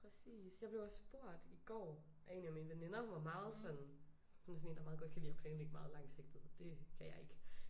Præcis jeg blev også spurgt i går af en af mine veninder hun var meget sådan hun er sådan en der meget godt kan lide at planlægge meget langsigtet og det kan jeg ikke